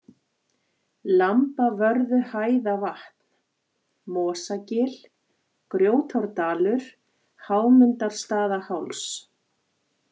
Lambavörðuhæðavatn, Mosagil, Grjótárdalur, Hámundarstaðaháls